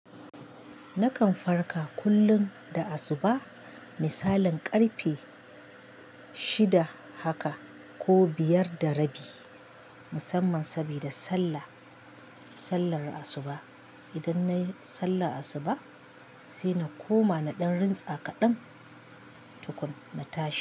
Nakan farka kullum da asubah misalin ƙarfe shida haka ko biyar da rabi musamman sabida sallah, sallar asubah. Idan nayi sallar asubah sai na koma na ɗan rintsa kaɗan tukuna na tashi.